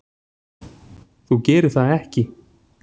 Þú gerir það ekki.